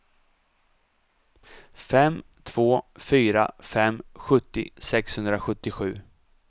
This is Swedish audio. fem två fyra fem sjuttio sexhundrasjuttiosju